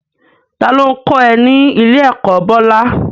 Ta ló ń kọ́ ẹ ní ilé-ẹ̀kọ́, Bola?